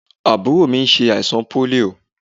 Àbúrò mi ṣẹ àìsàn pólíò.